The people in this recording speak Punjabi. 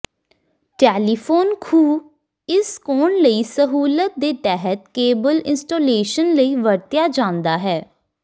ਟੈਲੀਫੋਨ ਖੂਹ ਇਸ ਕੋਣ ਲਈ ਸਹੂਲਤ ਦੇ ਤਹਿਤ ਕੇਬਲ ਇੰਸਟਾਲੇਸ਼ਨ ਲਈ ਵਰਤਿਆ ਜਾਦਾ ਹੈ